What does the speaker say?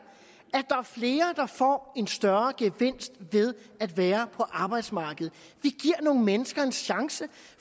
flere der får en større gevinst ved at være på arbejdsmarkedet at nogle mennesker en chance